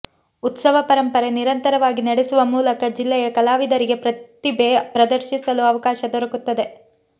ಉತ್ಸವ ಪರಂಪರೆ ನಿರಂತರವಾಗಿ ನಡೆಸುವ ಮೂಲಕ ಜಿಲ್ಲೆಯ ಕಲಾವಿದರಿಗೆ ಪ್ರತಿಭೆ ಪ್ರದರ್ಶಿಸಲು ಅವಕಾಶ ದೊರಕುತ್ತದೆ